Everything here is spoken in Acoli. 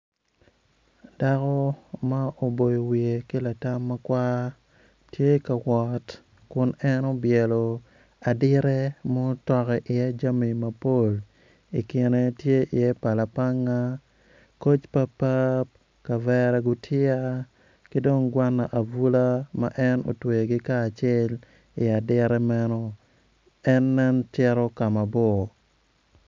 Dako ma oboyo wiye ki latam ma kwar tye ka wot kun en obyelo adite ma otoko iye jami mapol i kine tye iye pala panga koc papap kavera gutiya ki dong gwana abula ma en otweyogi kacel i adita meno en nen cito ka mabor.